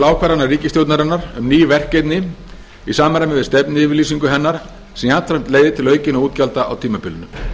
ákvarðana ríkisstjórnarinnar um ný verkefni í samræmi við stefnuyfirlýsingu hennar sem jafnframt leiðir til aukinna útgjalda á tímabilinu